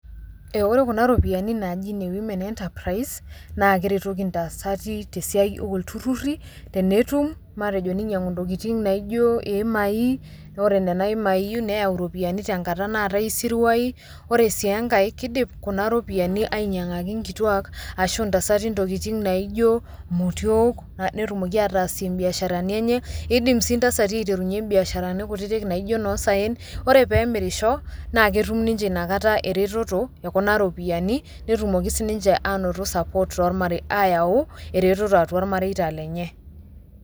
Ore kuna ropiyiani naji ne Women Enterprise, na keretoki ntasati tesiai olturrurri tenetum matejo ninyang'u ntokiting naijo imai, ore nena imai neeu ropiyiani tenkata naatae isiruai. Ore si enkae kidim kuna ropiyiani ainyang'aki inkituak ashu intasati intokiting naijo motiok, netumoki ataasie biasharani enye, idim si ntasati aiterunye biasharani kutitik naijo nosaen, ore pemirisho na ketum nince inakata ereteto ekuna ropiyiani, netumoki sininche anoto support ayau ereteto atua irmareita lenye.